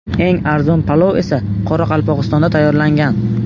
Eng arzon palov esa Qoraqalpog‘istonda tayyorlangan.